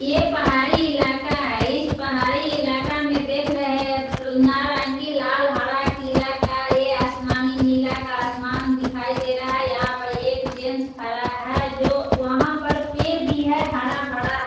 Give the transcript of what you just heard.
ये पहाड़ी इलाका है। इस पहाड़ी इलाका में देख रहें हैं नारंगी लाल हरा पीला का ये आसमानी नीला का आसमान दिखाई दे रहा है। यहाँ पर एक जेंट्स खड़ा है जो वहाँ पर पेड़ भी है हरा-भरा।